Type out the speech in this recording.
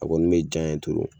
A kɔni m'e ja yen